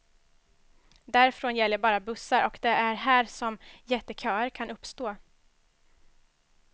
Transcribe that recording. Därifrån gäller bara bussar och det är här som jätteköer kan uppstå.